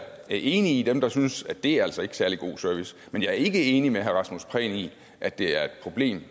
er enig med dem der synes at det altså ikke er særlig god service men jeg er ikke enig med herre rasmus prehn i at det er et problem